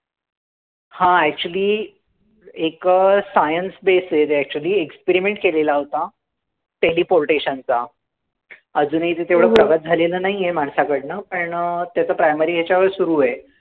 हां, actually एक science based आहे ते actually experiment केलेला होता. Teleportation चा. अजूनही ते तेवढं प्रगत झालेलं नाहीय माणसाकडनं, पण त्याचं primary याच्यावरच सुरूय.